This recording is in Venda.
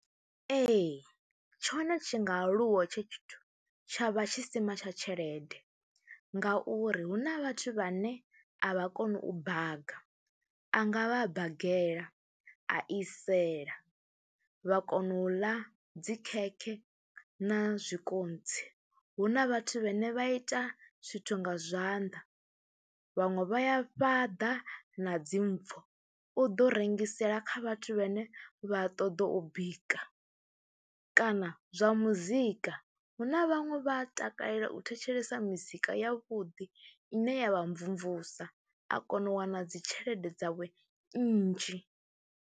Ee, tshone tshi nga aluwa hetsho, tshithu tsha vha tshisima tsha tshelede ngauri hu na vhathu vhane a vha koni u baga, a nga vha a bagela, a isela, vha kona u ḽa dzi khekhe na zwikontsi. Hu na vhathu vhane vha ita zwithu nga zwanḓa, vhaṅwe vha ya fhaḓa na dzi mpfhu, u ḓo rengisela kha vhathu vhane vha ṱoḓa u bika kana zwa muzika. Hu na vhaṅwe vha takalela u thetshelesa mizika yavhuḓi ine ya vha mvumvusa a kona u wana dzi tshelede dzawe nnzhi.